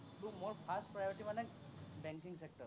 বোলো মোৰ first priority মানে banking sector